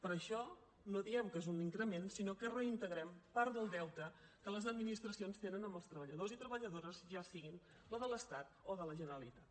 per això no diem que és un increment sinó que reintegrem part del deute que les administracions tenen amb els treballadors i treballadores ja siguin de l’estat o de la generalitat